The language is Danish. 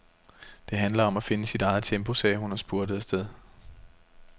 Det handler om at finde sit eget tempo, sagde hun og spurtede afsted.